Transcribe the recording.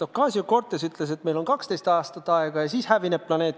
Ocasio-Cortez ütles, et meil on 12 aastat aega, ja siis planeet hävineb.